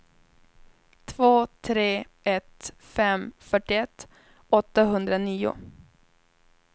två tre ett fem fyrtioett åttahundranio